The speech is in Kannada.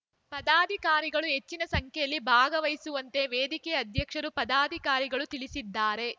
ಪದಾಧಿಕಾರಿಗಳು ಹೆಚ್ಚಿನ ಸಂಖ್ಯೆಯಲ್ಲಿ ಭಾಗವಹಿಸುವಂತೆ ವೇದಿಕೆ ಅಧ್ಯಕ್ಷರು ಪದಾಧಿಕಾರಿಗಳು ತಿಳಿಸಿದ್ದಾರೆ